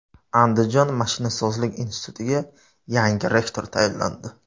Andijon mashinasozlik institutiga yangi rektor tayinlandi.